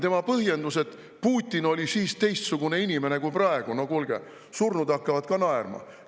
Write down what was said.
Tema põhjendus, et Putin oli siis teistsugune inimene kui praegu – no kuulge, surnud hakkavad ka naerma.